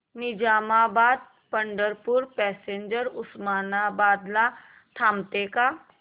Nizamabad Pandharpur passenger Osmanabad ला थांबते का